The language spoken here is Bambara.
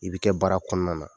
I bɛ kɛ baara kɔnɔna na.